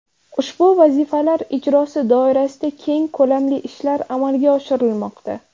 Ushbu vazifalar ijrosi doirasida keng ko‘lamli ishlar amalga oshirilmoqda.